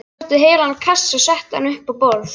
Ég sótti heilan kassa og setti hann upp á borð.